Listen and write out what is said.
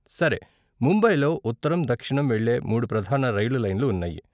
సరే, ముంబైలో ఉత్తరం, దక్షిణం వెళ్ళే మూడు ప్రధాన రైలు లైన్లు ఉన్నాయి.